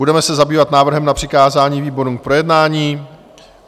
Budeme se zabývat návrhem na přikázání výborům k projednání.